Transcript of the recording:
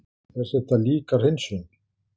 En þetta er líka hreinsun.